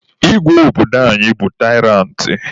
Igwe obodo anyị bụ taịrantị.